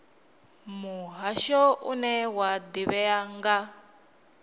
muhasho une wa ḓivhea nga